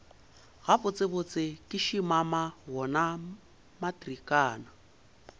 gabotsebotse ke šimama wona matrikana